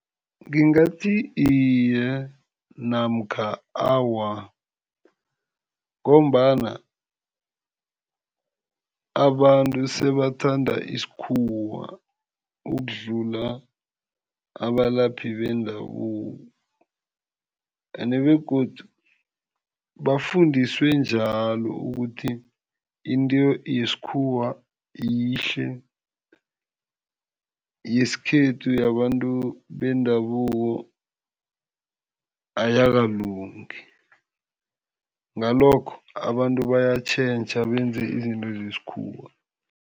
Ngingathi iye namkha awa, ngombana abantu sebathanda isikhuwa ukudlula abalaphi bendabuko. Ende begodu bafundiswe njalo ukuthi into yesikhuwa yihle, yesikhethu yabantu bendabuko ayakalungi. Ngalokho abantu bayatjhentjha benze izinto zesikhuwa.